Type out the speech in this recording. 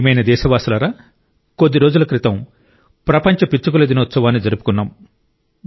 నా ప్రియమైన దేశవాసులారా కొద్ది రోజుల క్రితం ప్రపంచ పిచ్చుకల దినోత్సవాన్ని జరుపుకున్నాం